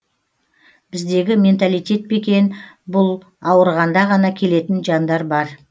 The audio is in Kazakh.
біздегі менталитет пе екен бұл ауырғанда ғана келетін жандар бар